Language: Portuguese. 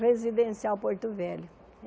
Residencial Porto Velho.